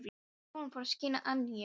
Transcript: Sólin fór að skína að nýju.